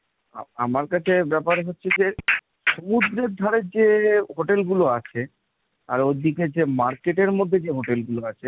আমার কাছে ব্যাপার হচ্ছে যে সমুদ্রের ধারে যে hotel গুলো আছে. আর ওর দিকে যে market এর মধ্যে যে hotel গুলো আছে